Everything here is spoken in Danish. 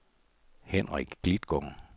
Henrik Klitgaard